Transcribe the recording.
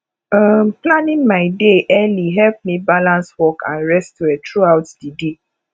um planning my day early help me balance work and rest well throughout di day